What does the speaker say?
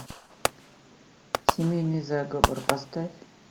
семейный заговор поставь